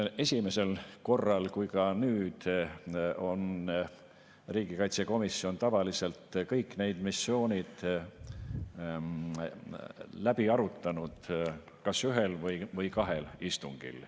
Nii esimesel korral kui ka nüüd on riigikaitsekomisjon tavaliselt kõik need missioonid läbi arutanud kas ühel või kahel istungil.